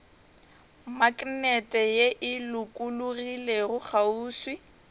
maknete ye e lokologilego kgauswi